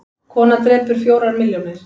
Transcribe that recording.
Kona drepur fjórar milljónir